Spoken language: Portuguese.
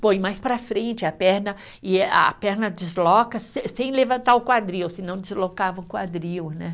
Põe mais para frente a perna e a perna desloca sem sem levantar o quadril, senão deslocava o quadril, né?